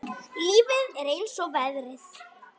Lífið er eins og veðrið.